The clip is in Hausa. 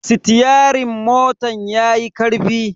Sitiyerin motan yayi karfi.